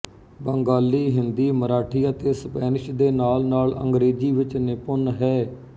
ਬੰਗਾਲੀ ਹਿੰਦੀ ਮਰਾਠੀ ਅਤੇ ਸਪੈਨਿਸ਼ ਦੇ ਨਾਲ ਨਾਲ ਅੰਗ੍ਰੇਜ਼ੀ ਵਿੱਚ ਨਿਪੁੰਨ ਹੈ